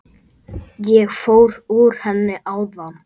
Ég fór úr henni áðan.